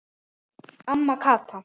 Amma Kata.